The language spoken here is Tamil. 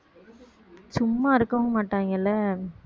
சும்மா இருக்கவும் மாட்டாங்கல்ல